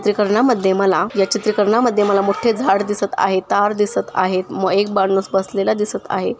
चित्री करना मध्ये मला या चित्री करना मध्ये मला मोठे झाड दिसत आहेत तार दिसत आहेत व एक माणूस बसलेला दिसत आहे.